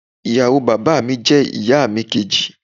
ìyàwó bàbá mi je ìyà mi kèjì